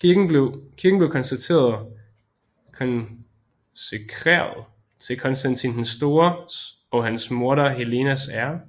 Kirken blev konsekreret til Konstantin den Stores og hans moder Helenas ære